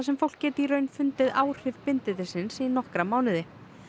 fólk geti í raun fundið áhrif bindindis í nokkra mánuði